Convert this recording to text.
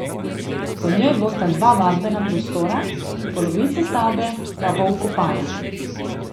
V njej bosta dva vadbena prostora, polovica stavbe pa bo vkopana.